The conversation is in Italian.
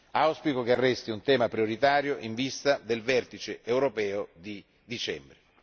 Auspico che resti un tema prioritario in vista del vertice europeo di dicembre.